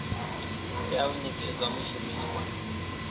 tea u nekedzwa mushumeli wa